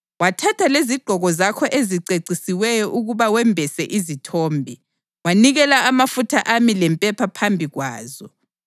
Wathatha lezigqoko zakho ezicecisiweyo ukuba wembese izithombe, wanikela amafutha ami lempepha phambi kwazo.